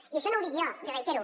i això no ho dic jo li ho reitero